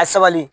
A sabali